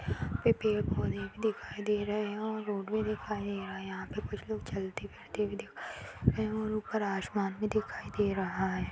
यहाँ पे पेड़ पौधे भी दिखाई दे रहे हैं और रोड भी दिखाई दे रहा है यहाँ पे कुछ लोग चलते फिरते भी दिखाई दे रहे हैं और ऊपर आसमान भी दिखाई दे रहा है।